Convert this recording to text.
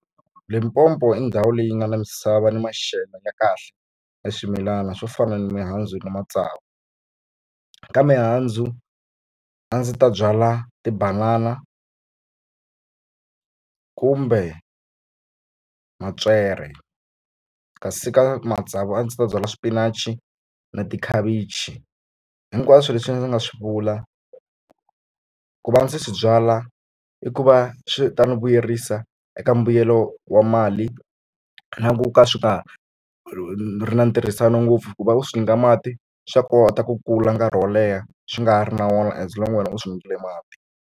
Limpopo i ndhawu leyi nga na misava ni maxelo ya kahle ka swimilana swo fana ni mihandzu na matsavu ka mihandzu a ndzi ta byala tibanana kumbe mapyere kasi ka matsavu a ndzi ta byala xipinachi na tikhavichi hinkwaswo leswi ndzi nga swi vula ku va ndzi swi byala i ku va swi ta ni vuyerisa eka mbuyelo wa mali na ku ka swi nga ri na ntirhisano ngopfu kuva u swi nyika mati swa kota ku kula nkarhi wo leha swi nga ri na wona as long wena u swi nyikile mati.